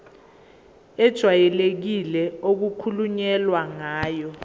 ejwayelekile okukhulunywe ngayo